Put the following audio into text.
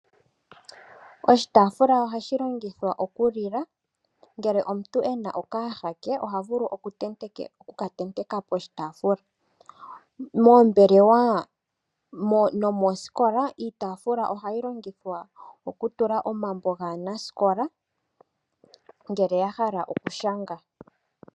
Oshitaafula ohashi longithwa okulila, ngele omuntu ena okayaha ke oha vulu oku ka tenteka poshitaafula. Moombelewa nomoosikola iitaafula ohayi longithwa okutentekwa omambo gaanasikola ngele ya hala okushanga.